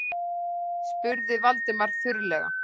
spurði Valdimar þurrlega.